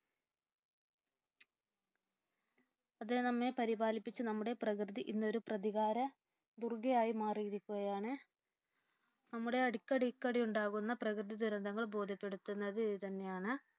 അതിനു നമ്മെ പരിപാലിപ്പിച്ചു നമ്മെ നമ്മുടെ പ്രകൃതി ഇന്നൊരു പ്രതികാര ദുർഗ്ഗയായി മാറിയിരിക്കുകയാണ്. നമ്മുടെ അടിക്കടിയുണ്ടാകുന്ന പ്രകൃതി ദുരന്തങ്ങൾ നമ്മെ ബോധ്യപ്പെടുത്തുന്നത് ഇതുതന്നെയാണ്.